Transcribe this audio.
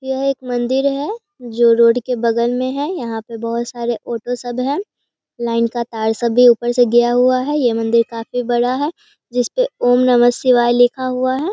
यह एक मंदिर है जो रोड के बगल में है। यहाँ पे बहोत सारे ऑटो सब है लाइन का तार सब भी ऊपर से गया हुआ हैं। ये मंदिर काफी बड़ा है। जिस पे ॐ नमः शिवाय लिखा हुआ हैं।